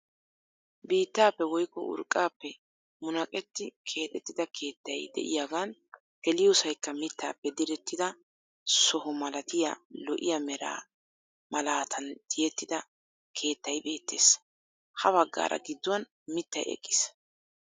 Biittaappe woykko urqqaappe munaqetti keexettida keettay de'iyaagan geliyoosaykka mittaappe direttida soho malatiyaa lo"iyaa mera malaataan tiyettida keettay beettees. Ha baggaara gidduwaan mittay eqqiis.